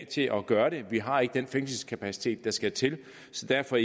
til at gøre det vi har ikke den fængselskapacitet der skal til så derfor